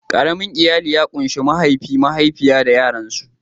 Ƙaramin iyali ya kunshi mahaifi, mahaifiya da yaransu.